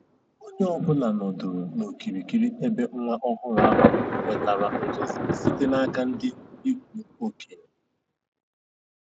Onye ọ bụla nọdụrụ n'okirikiri ebe nwa ọhụrụ ahụ nwetara ngọzi site n'aka ndị ikwu okenye.